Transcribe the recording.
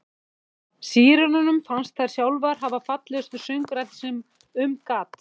Sírenunum fannst þær sjálfar hafa fallegustu söngraddir sem um gat.